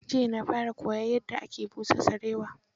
Jiya na fara koyon yadda ake busa sarewa.